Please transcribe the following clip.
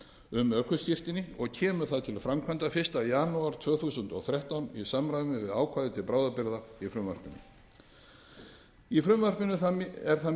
um ökuskírteini og kemur það til framkvæmda fyrsta janúar tvö þúsund og þrettán í samræmi við ákvæði til bráðabirgða í frumvarpinu í frumvarpinu er það mikilvæga